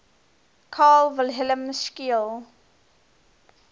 carl wilhelm scheele